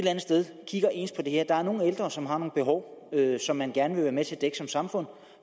andet sted ser ens på det her der er nogle ældre som har nogle behov som man gerne vil være med til at dække som samfund